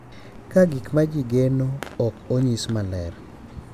Ka gik ma ji geno ok onyis maler,